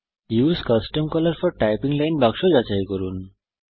use custom colour for typing line বাক্স যাচাই করুন